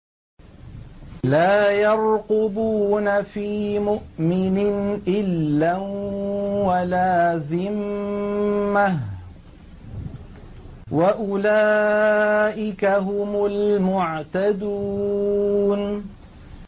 لَا يَرْقُبُونَ فِي مُؤْمِنٍ إِلًّا وَلَا ذِمَّةً ۚ وَأُولَٰئِكَ هُمُ الْمُعْتَدُونَ